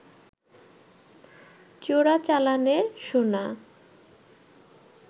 চোরাচালানের সোনা